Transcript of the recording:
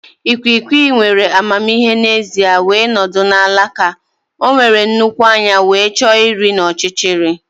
Ikwiikwii nwere amamihe n'ezie wee nọdụ na alaka. O nwere nnukwu anya wee chọọ nri n'ọchịchịrị.